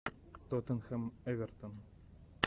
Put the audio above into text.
тоттенхэм эвертон